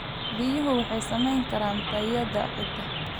Biyuhu waxay saamayn karaan tayada ciidda.